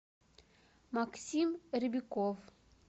максим ребяков